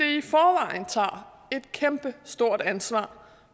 i forvejen tager et kæmpestort ansvar